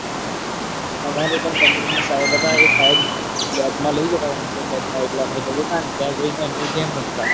અમર પણ computer ના સાહેબ હતા. એ સાહેબ lab માં લઇ જતા computer lab માં એટલે અમે ત્યાં જઈને અમે game રમતા.